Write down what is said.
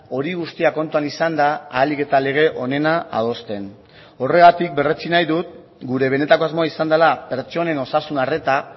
hori guztia kontuan izanda ahalik eta lege onena adosten horregatik berretsi nahi dut gure benetako asmoa izan dela pertsonen osasun arreta